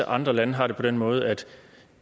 andre lande har det på den måde at